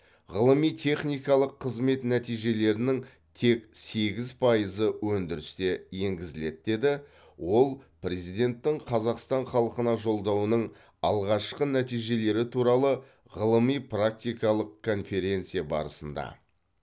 ғылыми техникалық қызмет нәтижелерінің тек сегіз пайызы өндіріске енгізіледі деді ол президенттің қазақстан халқына жолдауының алғашқы нәтижелері туралы ғылыми практикалық конференция барысында